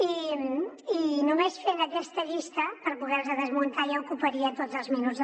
i només fent aquesta llista per poder los desmuntar ja ocuparia tots els minuts